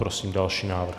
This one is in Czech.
Prosím další návrh.